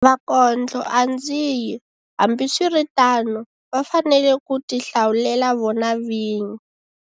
Vakondloandzidyi, hambiswiritano, va fanele ku tihlawulela vona vinyi.